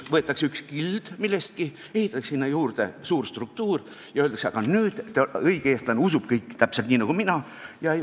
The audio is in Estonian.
Võetakse üks kild millestki, ehitatakse sinna juurde suur struktuur ja öeldakse: "Aga nüüd õige eestlane usub kõike täpselt nii nagu mina!